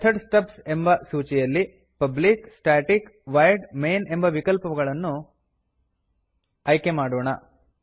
method stubs ಎಂಬ ಸೂಚಿಯಲ್ಲಿ public static void main ಎಂಬ ವಿಕಲ್ಪವನ್ನು ಆಯ್ಕೆಮಾಡೋಣ